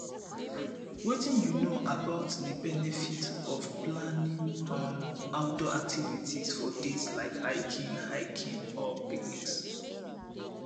wetin you know about di benefits of planning um outdoor activities for dates like hiking hiking or picnics